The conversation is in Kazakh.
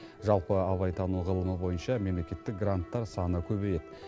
жалпы абайтану ғылымы бойынша мемлекеттік гранттар саны көбейеді